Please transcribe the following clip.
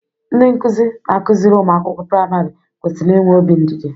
Ndị nkụzi na akụziri ụmụ akwụkwọ priamarị kwesịrị inwe obi ndidi.